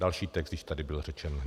Další text již tady byl řečen.